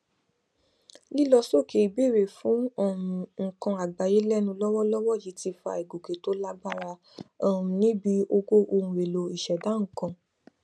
lílọ sókè ìbéèrè fún um nnkan àgbáyé lẹnu lọwọlọwọ yìí ti fa ìgòkè tó lágbára um níbi owó ohunèlò ìṣẹdá nnkan